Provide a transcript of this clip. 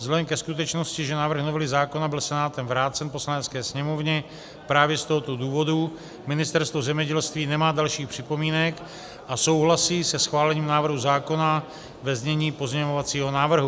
Vzhledem ke skutečnosti, že návrh novely zákona byl Senátem vrácen Poslanecké sněmovně, právě z tohoto důvodu Ministerstvo zemědělství nemá dalších připomínek a souhlasí se schválením návrhu zákona ve znění pozměňovacího návrhu.